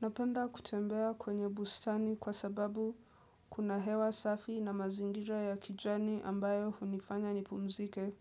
Napenda kutembea kwenye bustani kwa sababu kuna hewa safi na mazingira ya kijani ambayo hunifanya nipumzike.